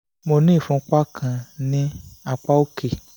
mo ní ìfúnpá kan ní apá òkè